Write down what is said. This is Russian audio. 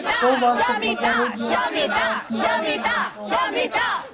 что ваше благородие сказал смеясь пугачёв